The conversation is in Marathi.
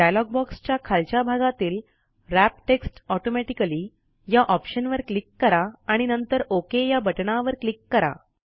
डायलॉग बॉक्सच्या खालच्या भागातील व्रॅप टेक्स्ट ऑटोमॅटिकली या ऑप्शनवर क्लिक करा आणि नंतर ओक या बटणवर क्लिक करा